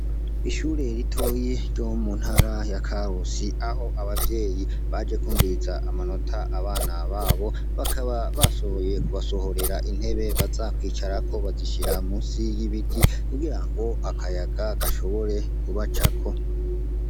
Ishure ritoyi ryo mu ntara ya karusi, aho abavyeyi baje kwumviza amanota abana babo. Bakaba bashoboye kubasohorera intebe baza kwicarako bazishira munsi y'ibiti kugira ngo akayaga gashobore kubacako.